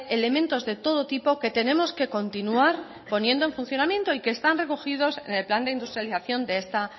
elementos de todo tipo que tenemos que continuar poniendo en funcionamiento y que están recogidos en el plan de industrialización de esta